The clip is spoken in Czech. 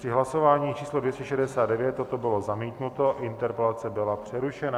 Při hlasování číslo 269 toto bylo zamítnuto, interpelace byla přerušena.